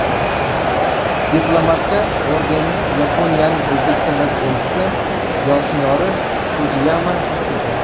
Diplomatga ordenni Yaponiyaning O‘zbekistondagi elchisi Yoshinori Fujiyama topshirdi.